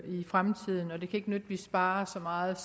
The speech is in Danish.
i fremtiden og det kan ikke nytte at vi sparer så meget